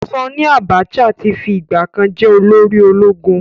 Sanni Abacha ti fi ìgbà kan jẹ́ olórí ológun.